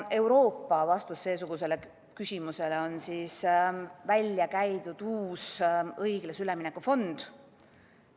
Euroopa vastus seesugusele küsimusele on uus õiglase ülemineku fond.